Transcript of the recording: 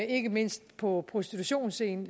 ikke mindst på prostitutionsscenen